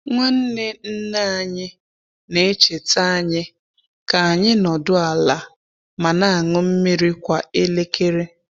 Nwanne nne anyị na-echeta anyị ka anyị nọdụ ala ma na-aṅụ mmiri kwa elekere.